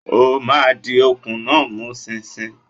O máa di okùn náà mú ṣinṣin!